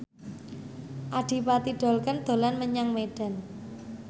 Adipati Dolken dolan menyang Medan